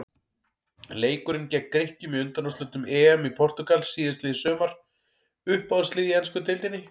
Leikurinn gegn Grikkjum í undanúrslitum EM í Portúgal síðastliðið sumar Uppáhaldslið í ensku deildinni?